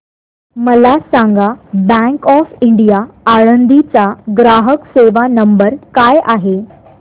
मला सांगा bank of India Alandi चा ग्राहक सेवा नंबर काय आहे